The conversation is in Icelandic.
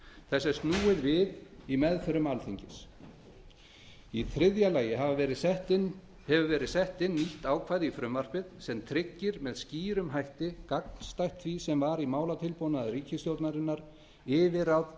þessu er snúið við í meðförum alþingis þriðja sett hefur verið inn nýtt ákvæði í frumvarpið sem tryggir með skýrum hætti gagnstætt því sem var í málatilbúnaði ríkisstjórnarinnar óskoruð